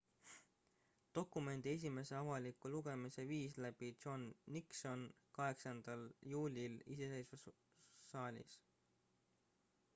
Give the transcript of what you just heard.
dokumendi esimese avaliku lugemise viis läbi john nixon 8 juulil iseseisvussaalis